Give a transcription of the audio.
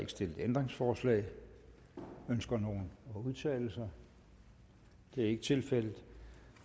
ikke stillet ændringsforslag ønsker nogen at udtale sig det er ikke tilfældet